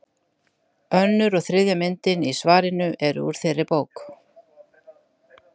Önnur og þriðja myndin í svarinu eru úr þeirri bók.